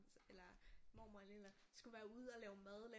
Eller mormor eller et eller andet skulle være ude og lave mad lave